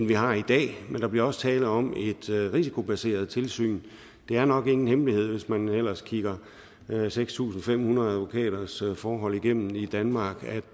vi har i dag men der bliver også tale om et risikobaseret tilsyn det er nok ingen hemmelighed hvis man ellers kigger seks tusind fem hundrede advokaters forhold igennem i danmark at